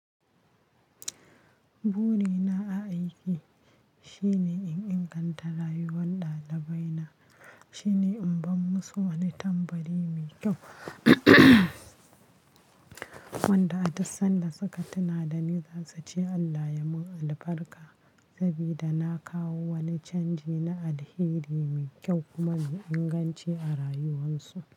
Burina a aiki shine in inganta rayuwar ɗalibai na. Shine in ban musu wani tambari mai kyau wanda a dassan da suka tuna da ni za su ce Allah ya mun albarka sabida na kawo wani canji na alheri mai kyau kuma mai inganci a rayuwan su.